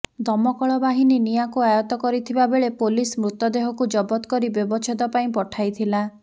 ଦମକଳ ବାହିନୀ ନିଆଁକୁ ଆୟତ କରିଥିବା ବେଳେ ପୋଲିସ୍ ମୃତଦେହକୁ ଜବତ କରି ବ୍ୟବଚ୍ଛେଦ ପାଇଁ ପଠାଇଥିଲା